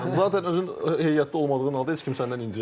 Zaten özün heyətdə olmadığını halda heç kim səndən inciməz.